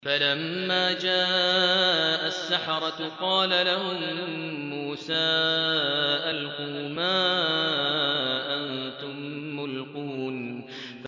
فَلَمَّا جَاءَ السَّحَرَةُ قَالَ لَهُم مُّوسَىٰ أَلْقُوا مَا أَنتُم مُّلْقُونَ